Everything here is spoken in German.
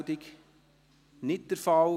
– Dies ist nicht der Fall.